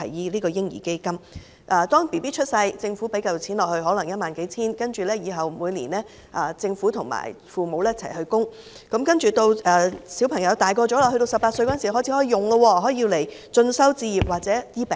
當嬰兒出生後，政府投放一筆可能是幾千元至1萬元的款項，然後每年由政府和父母共同供款，直至兒童年滿18歲時便可使用，可以用於進修、置業，甚至治病。